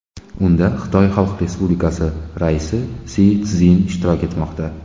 Unda Xitoy Xalq Respublikasi raisi Si Szinpin ishtirok etmoqda.